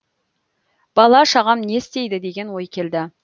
бала шағам не істейді деген ой келді